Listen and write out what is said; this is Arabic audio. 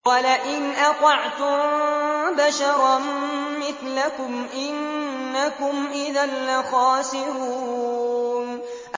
وَلَئِنْ أَطَعْتُم بَشَرًا مِّثْلَكُمْ إِنَّكُمْ إِذًا لَّخَاسِرُونَ